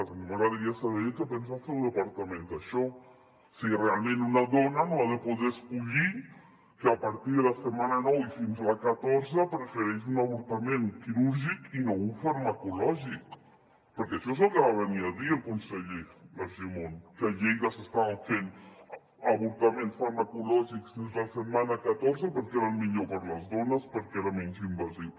a mi m’agradaria saber què pensa el seu departament d’això si realment una dona no ha de poder escollir que a partir de la setmana nou i fins a la catorze prefereix un avortament quirúrgic i no un farmacològic perquè això és el que va venir a dir el conseller argimon que a lleida s’estaven fent avortaments farmacològics fins a la setmana catorze perquè era el millor per a les dones perquè era menys invasiu